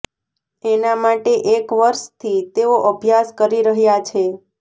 એના માટે એક વર્ષથી તેઓ અભ્યાસ કરી રહ્યા છે